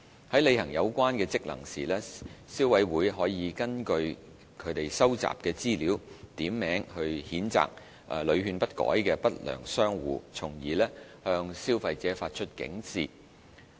在履行有關職能時，消委會可根據其收集的資料，點名譴責屢勸不改的不良商戶，從而向消費者發出警示。